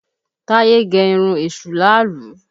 Táyé gẹ irun èṣù láàálú